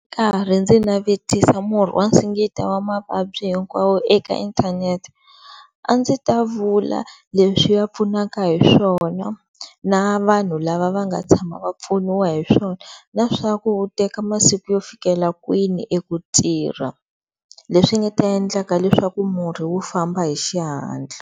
Ndzi karhi ndzi navetisa murhi wa singita wa mavabyi hinkwawo eka inthanete a ndzi ta vula leswi ya pfunaka hiswona na vanhu lava va nga tshama va pfuniwa hiswona na swaku u teka masiku yo fikela kwini eku tirha, leswi nga ta endla leswaku murhi wu famba hi xihatla.